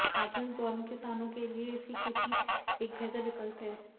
आधुनिक दौर में किसानों के लिए इसकी खेती एक बेहतर विकल्प है